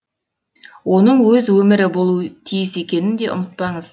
оның өз өмірі болуы тиіс екенін де ұмытпаңыз